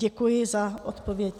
Děkuji za odpověď.